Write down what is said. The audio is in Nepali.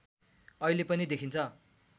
अहिले पनि देखिन्छ